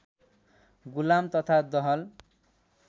गुलाम तथा दहल